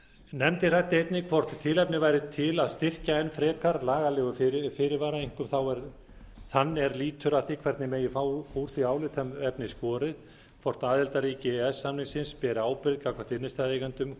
nefndin ræddi einnig hvort tilefni væri til að styrkja enn frekar hina lagalegu fyrirvara einkum þann er lýtur að því hvernig megi fá úr því álitaefni skorið hvort aðildarríki e e s samningsins beri ábyrgð gagnvart innstæðueigendum